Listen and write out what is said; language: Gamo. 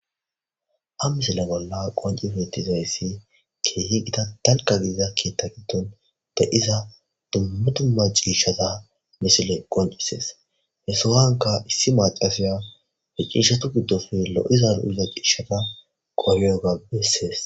A misila bolla qoncifetizayssi keehi gida talka gidiza kietta giddon da iza dummu dumma ciishshata misile qoncisees he sohanka issi macasiya he ciishatu giddofi lo'iza lo'iza ciishata qohiyoga bessees.